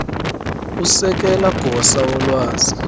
usekela gosa wolwazi